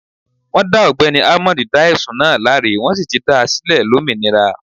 Wọn dá ogbẹ́ni almond dá ẹ̀sùn náà láre, wọ́n sì ti dá a sílẹ̀ lómìnira.